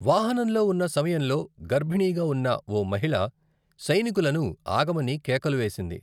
వాహనంలో ఉన్న సమయంలో గర్భిణిగా ఉన్న ఓ మహిళ సైనికులను ఆగమని కేకలు వేసింది.